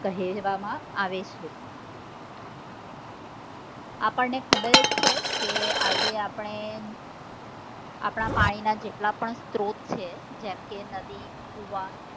કહેવામાં આવે છે. આપણને ખબર જ છે કે આજે આપણે આપણા પાણી ના જેટલા પણ સ્ત્રોત છે જેમ કે નદી, કુઆ,